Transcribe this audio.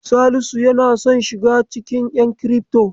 Salisu yana son shiga cikin ƴan kirifto.